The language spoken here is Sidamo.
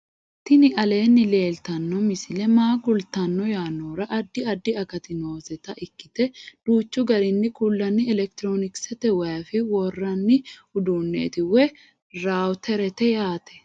tini aleenni leeltanno misi maa kultanno yaannohura addi addi akati nooseta ikkite duuchchu garinni kullanni elekitiroonikisete wif worranni uduunneeti woy rawuterete yaate